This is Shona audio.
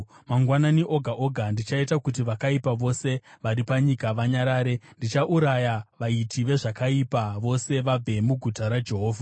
Mangwanani oga oga ndichaita kuti vakaipa vose vari panyika vanyarare; ndichauraya vaiti vezvakaipa vose, vabve muguta raJehovha.